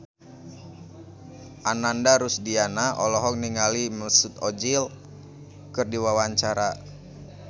Ananda Rusdiana olohok ningali Mesut Ozil keur diwawancara